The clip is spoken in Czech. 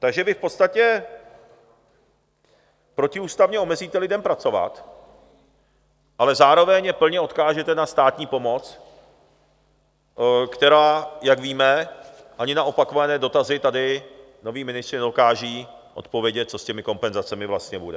Takže vy v podstatě protiústavně omezíte lidem pracovat, ale zároveň je plně odkážete na státní pomoc, která, jak víme, ani na opakované dotazy tady noví ministři nedokážou odpovědět, co s těmi kompenzacemi vlastně bude.